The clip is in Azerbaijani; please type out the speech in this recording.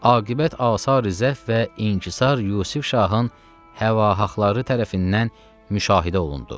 Aqibət asar zəif və inqusar Yusuf Şahın həvahaxları tərəfindən müşahidə olundu.